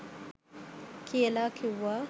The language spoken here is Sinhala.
කියලා කිව්වා.